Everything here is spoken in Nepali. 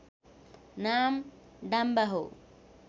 नाम डाम्बा हो